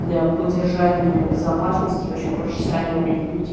для поддержания безопасности и вобщем проще с ранего времени в пути